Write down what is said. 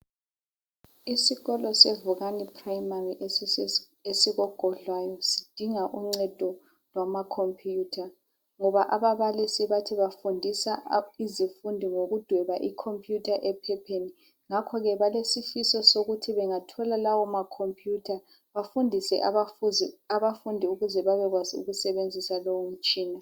Isikolo sevukani primary esikogodlwayo sidinga uncedo lwamakhompuyutha ngoba ababalisi bathi bafundisa izifundi ngokudweba ikhompuyutha ephepheni ngakhoke balesifiso sokuthi bengathola bengathola lawo makhompuyutha bafundise abafundi ukuze bebekwazi ukusebenzisa lowo mtshina.